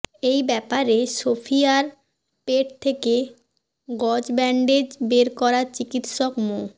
এই ব্যাপারে সোফিয়ার পেট থেকে গজ ব্যান্ডেজ বের করা চিকিৎসক মো